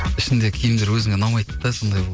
ішінде киімдер өзіңе ұнамайды да сондай